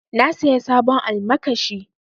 Na saya sabon almakashi.